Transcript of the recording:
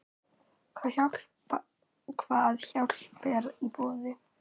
Hvað hjálp er í boði?